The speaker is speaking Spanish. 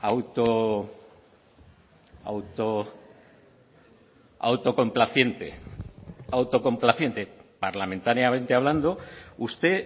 a auto auto autocomplaciente autocomplaciente parlamentariamente hablando usted